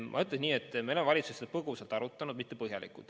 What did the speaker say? Ma ütlen nii, et me oleme valitsuses seda põgusalt arutanud, mitte põhjalikult.